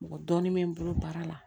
Mɔgɔ dɔɔnin bɛ n bolo baara la